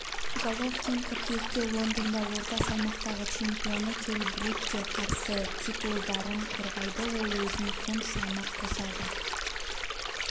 головкин қыркүйекте лондонда орта салмақтағы чемпионы келл брукке қарсы титулдарын қорғайды ол өзіне фунт салмақ қосады